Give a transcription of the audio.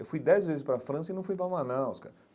Eu fui dez vezes para França e não fui para Manaus, cara.